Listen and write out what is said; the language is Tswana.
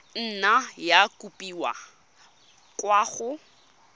nna ya kopiwa kwa go